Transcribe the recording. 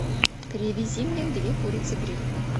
привези мне две курицы гриль